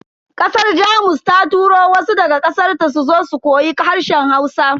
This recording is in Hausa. Kasar Jamus ta turo wasu daga kasarta suzo su koyi harshen Hausa.